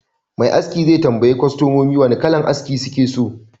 Me aski zai tambayi kwastomanshi wane kalar aski yake so